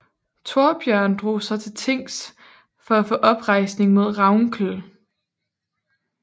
Torbjørn drog så til tings for at få oprejsning mod Ravnkel